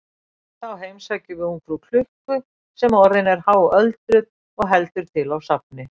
Þá heimsækjum við ungfrú klukku sem orðin er háöldruð og heldur til á safni.